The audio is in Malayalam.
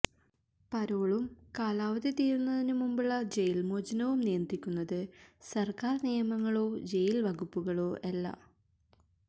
പരോളും കാലാവധി തീരുന്നതിനു മുമ്പുള്ള ജയില് മോചനവും നിയന്ത്രിക്കുന്നത് സര്ക്കാര് നിയമങ്ങളോ ജയില് വകുപ്പുകളോ അല്ല